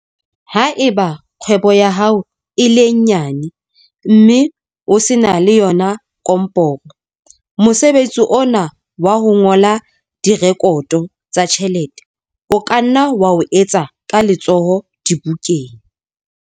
Ha eba kgwebo ya hao e le nyane, mme o se na le yona komporo, mosebetsi ona wa ho ngola direkoto tsa ditjhelete o ka nna wa etswa ka letsoho dibukeng.